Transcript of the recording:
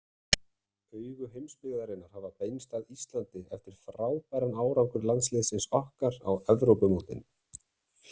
Augu heimsbyggðarinnar hafa beinst að Íslandi eftir frábæran árangur landsliðsins okkar á Evrópumótinu.